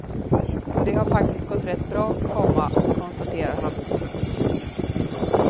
Och det har faktiskt gått rätt bra, komma konstaterar han. punkt